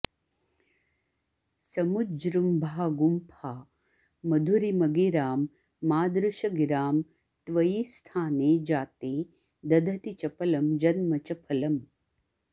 समुज्जृम्भा गुम्फा मधुरिमगिरां मादृशगिरां त्वयि स्थाने जाते दधति चपलं जन्म च फलम्